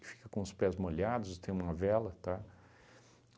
fica com os pés molhados, tem uma vela, tá?